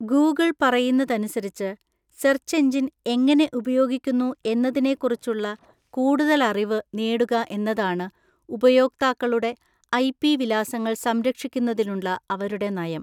Google പറയുന്നതനുസരിച്ച്, search engine എങ്ങനെ ഉപയോഗിക്കുന്നു എന്നതിനെക്കുറിച്ചുള്ള കൂടുതൽ അറിവ് നേടുക എന്നതാണ് ഉപയോക്താക്കളുടെ ഐപി വിലാസങ്ങൾ സംരക്ഷിക്കുന്നതിനുള്ള അവരുടെ നയം.